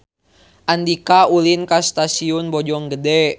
Andika ulin ka Stasiun Bojonggede